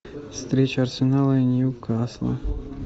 встреча арсенала и ньюкасла